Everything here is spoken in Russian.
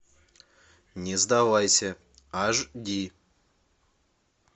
не сдавайся аш ди